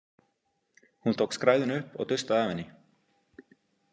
Hún tók skræðuna upp og dustaði af henni.